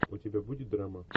у тебя будет драма